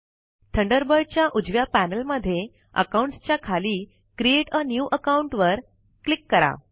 Thunderbird च्या उजव्या panel मध्ये अकाउंट्स च्या खाली क्रिएट आ न्यू अकाउंट वर क्लिक करा